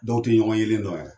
Dɔw tɛ ɲɔgɔn yelen dɔ yɛrɛ.